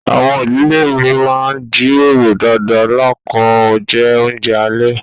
Àwọn ìdílé mi má n jíròrò dáadá lákọ̀ ọ̀un jẹ́ ọ̀unjẹ̀ alẹ̀.